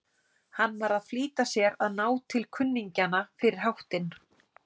Hann var að flýta sér að ná til kunningjanna fyrir háttinn.